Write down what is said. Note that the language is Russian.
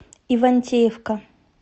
ивантеевка